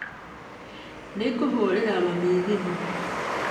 Nĩngũhũrĩra mami thimũ.